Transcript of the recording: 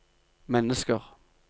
mennesker